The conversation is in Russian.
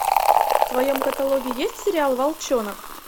в твоем каталоге есть сериал волчонок